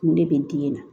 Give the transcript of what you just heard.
Kun de bɛ n dimi nan